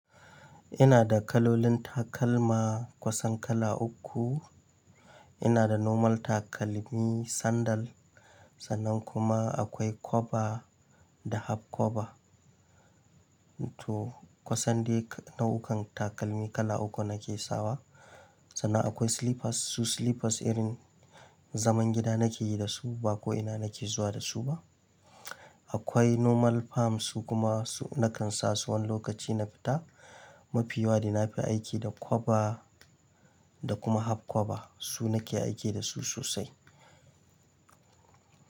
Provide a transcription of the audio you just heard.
Ina da kalolin takalma kusan kala uku. Ina da normal takalmi sandal sannan kuma akwai kwoba da half kwoba. To kusan dai nau'ukan takalmi kala uku nake sawa. Sannan akwai slippers, su slippers irin zaman gida nake yi da su ba ko ina nake zuwa da su ba. Akwai normal fam su kuma su nakan sa su wani lokaci na fita. Mafiyawa dai na fi aiki da kwoba da kuma half kwoba su nake aiki da su sosai.